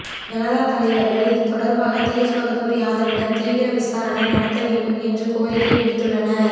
ஜனதா தலைவர்கள் இது தொடர்பாக தேஜ்பகதூர் யாதவிடம் தீவிர விசாரணை நடத்த வேண்டும் என்று கோரிக்கை விடுத்துள்ளனர்